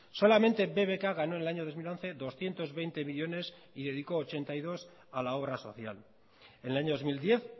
solamente bbk ganó en el año dos mil once doscientos veinte millónes y dedicó ochenta y dos a la obra social en el año dos mil diez